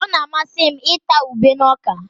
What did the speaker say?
Ọ na-amasị m ịta ube na ọka